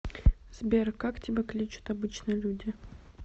сбер как тебя кличут обычно люди